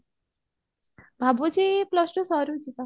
ଭାବୁଚି plus two ସରୁ ଯିବା